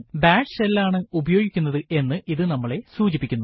bash shell ആണ് ഉപയോഗിക്കുന്നത് എന്ന് ഇത് നമ്മളെ സൂചിപ്പിക്കുന്നു